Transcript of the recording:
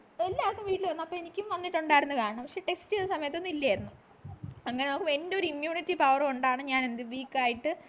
എല്ലാര്ക്കും വീട്ടിൽ വന്നു അപ്പൊ എനിക്കും വന്നിട്ടുണ്ടാകണം പക്ഷെ test ചെയ്ത സമയത്തൊന്നും ഇല്ലായിരുന്നു ആഞ്ഞ് എന്റെ ഒരു immunity power കൊണ്ടാണ് ഞാൻ weak ആയിട്ട്